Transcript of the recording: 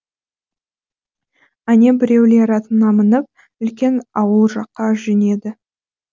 әне біреулер атына мініп үлкен ауыл жаққа жөнеді